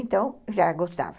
Então, já gostava.